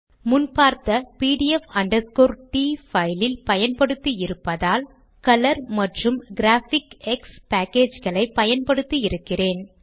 முன் பார்த்த pdf t file இல் பயன்படுத்தி இருப்பதால் கலர் மற்றும் கிராபிக்ஸ் பேக்கேஜ் களை பயன்படுத்தி இருக்கிறேன்